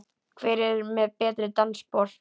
Hver er með betri dansspor?